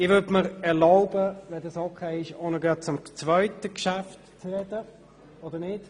Wenn es in Ordnung ist, würde ich mir erlauben, auch noch zum zweiten Geschäft zu sprechen.